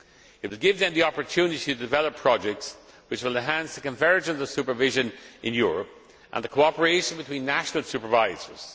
It would give them the opportunity to develop projects which will enhance the convergence of supervision in Europe and the cooperation between national supervisors.